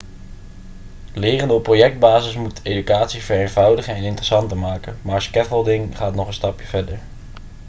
leren op projectbasis moet educatie vereenvoudigen en interessanter maken maar scaffolding gaat nog een stapje verder